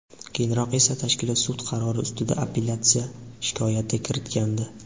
Keyinroq esa tashkilot sud qarori ustida apellyatsiya shikoyati kiritgandi.